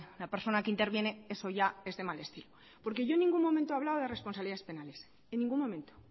la persona que interviene eso ya es de mal estilo porque yo en ningún momento he hablado de responsabilidades penales en ningún momento